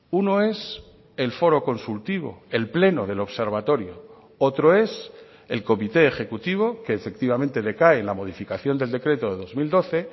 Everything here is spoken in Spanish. uno es el foro consultivo el pleno del observatorio otro es el comité ejecutivo que efectivamente decae en la modificación del decreto de dos mil doce